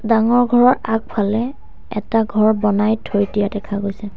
ডাঙৰ ঘৰৰ আগফালে এটা ঘৰ বনাই থৈ দিয়া দেখা গৈছে।